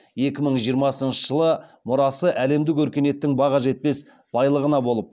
екі мың жиырмасыншы жылы мұрасы әлемдік өркениеттің баға жетпес